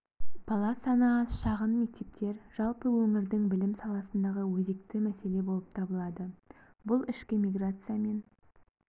бала саны аз шағын мектептер жалпы өңірдің білім саласындағы өзекті мәселе болып табылады бұл ішкі миграциямен